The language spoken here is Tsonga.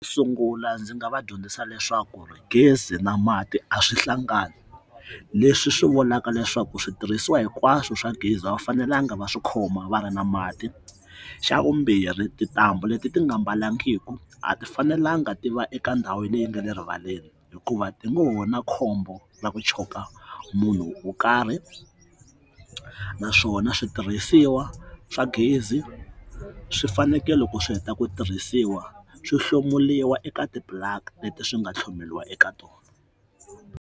Sungula ndzi nga va dyondzisa leswaku gezi na mati a swi hlangani leswi swi vulaka leswaku switirhisiwa hinkwaswo swa gezi va fanelanga va swi khoma va ri na mati, xa vumbirhi tintambu leti ti nga mbalangiku a ti fanelanga ti va eka ndhawini leyi nga le rivaleni hikuva tingohova na khombo ra ku choka munhu wo karhi naswona switirhisiwa swa gezi swi fanekele ku swi heta ku tirhisiwa swo hlomuriwa eka ti blacklist swi nga tlhogomeriwa eka tona